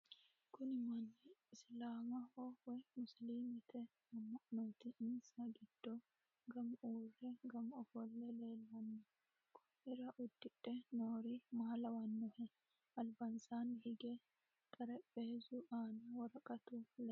kuni manni isilaamaho woy musiliimete amma'nooti insa giddo gamu uurre gamu ofolle leellaano konnira uddidhe noori maa lawannoho albansanni hige xaraphezu aana woraqatu leellani nooe